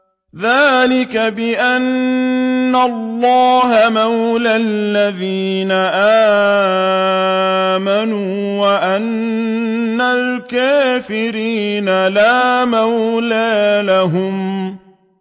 ذَٰلِكَ بِأَنَّ اللَّهَ مَوْلَى الَّذِينَ آمَنُوا وَأَنَّ الْكَافِرِينَ لَا مَوْلَىٰ لَهُمْ